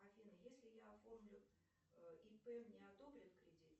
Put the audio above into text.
афина если я оформлю ип мне одобрят кредит